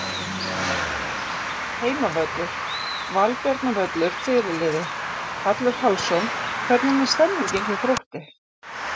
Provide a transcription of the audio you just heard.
Heimavöllur: Valbjarnarvöllur Fyrirliði: Hallur Hallsson Hvernig er stemningin hjá Þrótti?